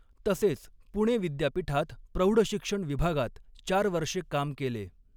तसेच पुणे विद्यापीठात प्रौढशिक्षण विभागात चार वर्षे काम केले.